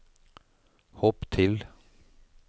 hopp til